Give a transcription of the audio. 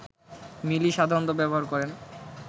মিলি সাধারণত ব্যবহার করেন